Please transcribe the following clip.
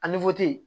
A